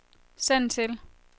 send til